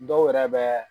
Dɔw yɛrɛ bɛ